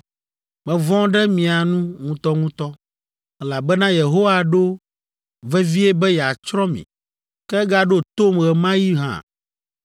Mevɔ̃ ɖe mia nu ŋutɔŋutɔ, elabena Yehowa ɖo vevie be yeatsrɔ̃ mi. Ke egaɖo tom ɣe ma ɣi hã.